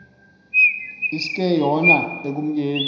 iske yona ekumkeni